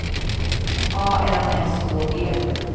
A N S Å G